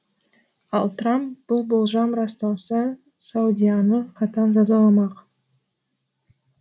ал трамп бұл болжам расталса саудияны қатаң жазаламақ